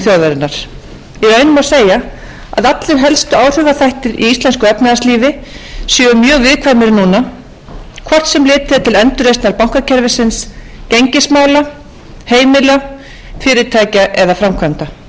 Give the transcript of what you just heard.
þjóðarinnar í raun má segja að allir helstu áhrifaþættir í íslensku efnahagslífi séu mjög viðkvæmir núna hvort sem litið er til endurreisnar bankakerfisins gengismála heimila fyrirtækja eða framkvæmda við höfum